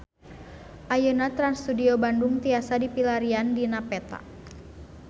Ayeuna Trans Studio Bandung tiasa dipilarian dina peta